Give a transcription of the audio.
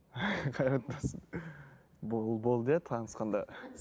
қайрат нұртас ыыы болды иә танысқанда